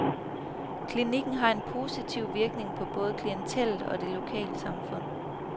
Klinikken har en positiv virkning på både klientellet og det lokalsamfundet.